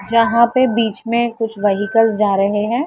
जहाँ पे बीच में कुछ वेहीकल्स जा रहे हैं।